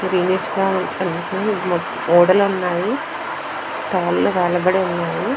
Greenish గా కనిపిస్తునాయి. గోడలు ఉన్నాయి. కాళ్ళు వేలబడి ఉన్నాయి.